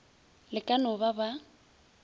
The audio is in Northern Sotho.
le ka no ba ba